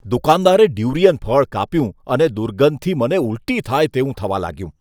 દુકાનદારે durian ફળ કાપ્યું અને દુર્ગંધથી મને ઊલટી થાય તેવું થવા લાગ્યું.